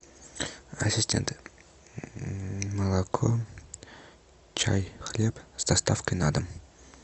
ассистент молоко чай хлеб с доставкой на дом